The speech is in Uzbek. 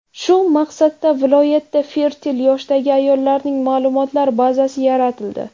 Shu maqsadda viloyatda fertil yoshdagi ayollarning ma’lumotlar bazasi yaratildi.